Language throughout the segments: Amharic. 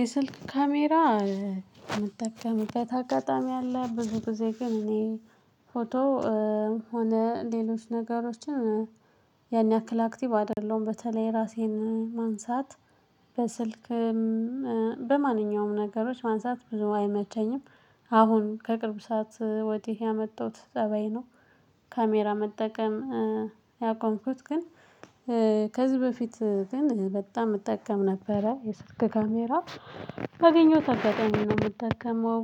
የስልክ ካሜራ ምጠቀምበት አጋጣሚ አለ ብዙ ጊዜ ግን እኔ ፎቶ ሆነ ሌሎች ነገሮችን ያን ያክል አክቲቭ አይደለሁም በተለይ ራሴን ማንሳት በስልክ በማንኛውም ነገሮች ማንሳት ብዙ አይመቸኝም። አሁን ከቅርብ ሰዓት ወዲህ ያመጣሁት ጠባይ ነው። ካሜራ መጠቀም ያቆምኩት ግን ከዚህ በፊት ግን በጣም እጠቀም ነበረ የስርክ ካሜራ ባገኘሁት አጋጣሚ ነው የምትጠቀመው።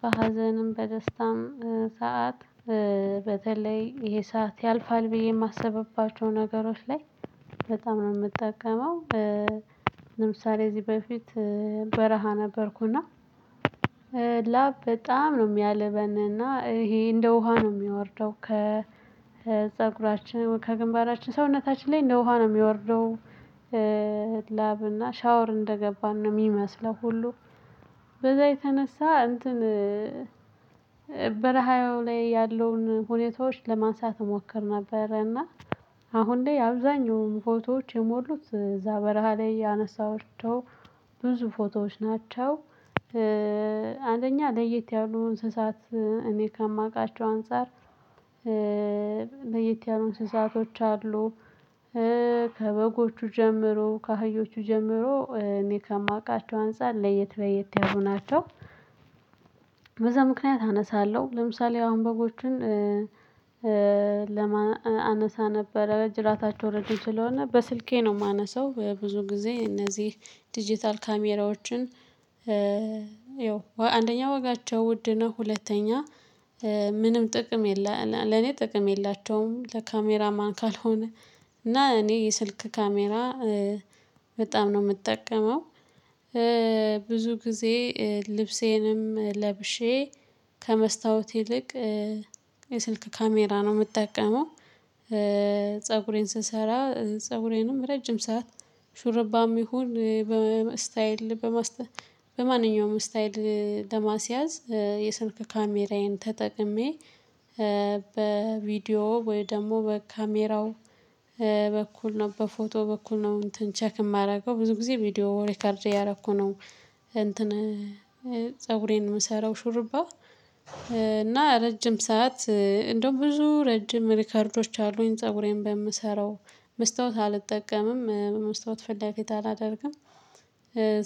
በሀዘንም በደስታም ሰዓት በተለይ ይሄ ሰዓት ያልፋል ብዬ የማስብባቸው ነገሮች ላይ በጣም ነው የምጠቀመው። ለምሳሌ እዚህ በፊት በረሃ ነበርኩና ላብ በጣም ነው የሚያልበንና ይሄ እንደ ውሃ ነው የሚወርደው ከፀጉራችን ከግንባራችን ሰውነታችን ላይ እንደ ውሃ ነው የሚወርደው። ላብ እና ሻወር እንደገባን ነው የሚመስለው። ሁሉ በዛ የተነሳ እንትን በረሃው ላይ ያለውን ሁኔታዎች ለማንሳት እሞክር ነበርና አሁን ላይ አብዛኛውን ፎቶዎች የሞሉት እዛ በረሃ ላይ ያነሳሃቸው ብዙ ፎቶዎች ናቸው። አንደኛ ለየት ያሉ እንስሳት እኔ ከማውቃቸው አንፃር ለየት ያሉ እንስሳቶች አሉ። ከበጎቹ ጀምሮ ከሀዮቹ ጀምሮ እኔ ከማውቃቸው አንፃር ለየት ለየት ያሉ ናቸው። በዛ ምክንያት አነሳለሁ ለምሳሌ አሁን በጎችን ለማ አነሳነበረ ጅራታቸው ረጅም ስለሆነ በስልኬ ነው ማነሳው። ብዙ ጊዜ እነህ ዲጂታል ካሜራዎችን ያው አንደኛ ወጋቸው ውድ ነው። ሁለተኛ ምንም ጥቅም የለ ለኔ ጥቅም የላቸውም ለካሜራማን ካልሆነ። እና እኔ የስልክ ካሜራ በጣም ነው ምጠቀመው። ብዙ ጊዜ ልብሴንም ለብሼ ከመስታወት ይልቅ የስልክ ካሜራ ነው የምጠቀመው። ፀጉሬን ስሰራ ፀጉሬንም ረጅም ሰዓት ሹርባም ይሁን በስታይል በማስተ በማንኛውም ስታይል ለማስያዝ የስልክ ካሜራዬን ተጠቅሜ በቪዲዮ ወይ ደግሞ በካሜራው በኩል ነው በፎቶ በኩል ነው እንትን ቼክ ማደርገው ብዙ ጊዜ ቪዲዮ ሪከርድ እያደረኩ ነው። እንትን ፀጉሬን የምሰራው ሹርባ። እና ረጅም ሰዓት እንደውም ብዙ ረጅም ሪከርዶች አሉኝ ፀጉሬን በምሰራው መስታወት አልጠቀምም በመስታወት ፍላጎት አላደርግም።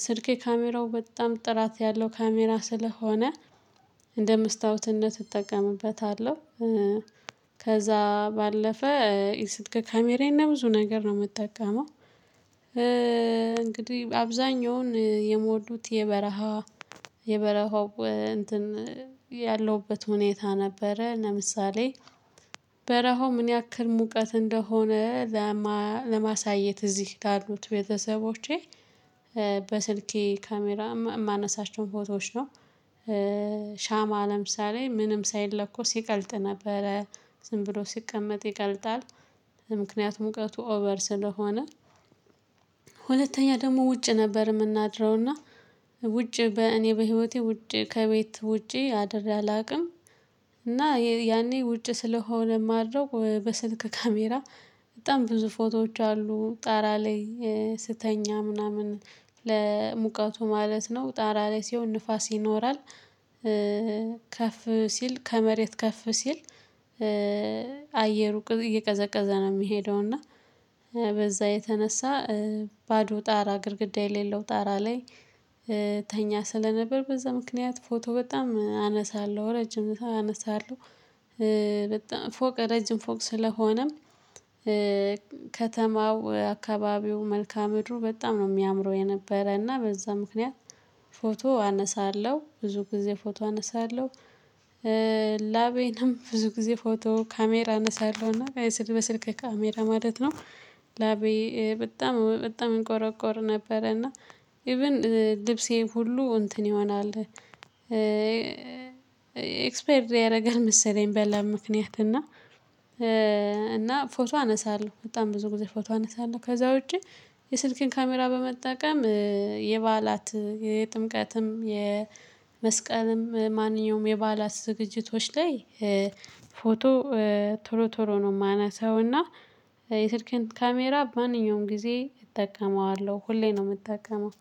ስልኬ ካሜራው በጣም ጥራት ያለው ካሜራ ስለሆነ እንደ መስታወትነት እጠቀምበታለሁ። ከዛ ባለፈ የስልክ ካሜራዬን ለብዙ ነገር ነው ምጠቀመው። እንግዲህ አብዛኛውን የሞሉት የበረሃ የበረሃው እንትን ያለሁበት ሁኔታ ነበረ። ለምሳሌ በረሃው ምን ያክል ሙቀት እንደሆነ ለማሳየት እዚህ ላሉት ቤተሰቦቼ በስልኬ ካሜራ ማነሳቸውን ፎቶዎች ነው። ሻማ ለምሳሌ ምንም ሳይለኮ ይቀልጥ ነበረ ዝም ብሎ ሲቀመጥ ይቀልጣል። ምክንያቱም ሙቀቱ ኦቨር ስለሆነ። ሁለተኛ ደግሞ ውጭ ነበር የምናድረውና ውጭ በእኔ በህይወቴ ውጭ ከቤት ውጪ አድሬ አላውቅም። እና ያኔ ውጭ ስለሆነ ማድረግ በስልክ ካሜራ በጣም ብዙ ፎቶዎች አሉ ጣራ ላይ ስተኛ ምናምን ለሙቀቱ ማለት ነው ጣራ ላይ ሲሆን ንፋስ ይኖራል። ከፍ ሲል ከመሬት ከፍ ሲል አየሩ እየቀዘቀዘ ነው የሚሄደው እና በዛ የተነሳ ባዶ ጣራ ግድግዳ የሌለው ጣራ ላይ ተኛ ስለነበር በዛ ምክንያት ፎቶ በጣም አነሳለሁ ረጅም ሰዓት አነሳለሁ። በጣም ፎቅ ረጅም ፎቅ ስለሆነም ከተማው አካባቢው መልካ ምድሩ በጣም ነው የሚያምረው የነበረና በዛ ምክንያት ፎቶ አነሳለሁ ብዙ ጊዜ ፎቶ አነሳለሁ። ላቤንም ብዙ ጊዜ ፎቶ ካሜራ አነሳለሁና በስልክ ካሜራ ማለት ነው። ላቤ በጣም በጣም እንቆረቆር ነበረ እና ኢቭን ልብሴም ሁሉ እንትን ይሆናል። ኤክስፓየርድ ያደርጋል መሰለኝ በላብ ምክንያት እና። እና ፎቶ አነሳለሁ በጣም ብዙ ጊዜ ፎቶ አነሳለሁ። ከዛ ውጪ የስልክን ካሜራ በመጠቀም የባህላት የጥምቀትም የመስቀልም ማንኛውም የባላት ዝግጅቶች ላይ ፎቶ ቶሎ ቶሎ ነው ማነሳው። እና የስልኬን ካሜራ በማንኛውም ጊዜ እጠቀመዋለሁ ሁሌ ነው የምጠቀመው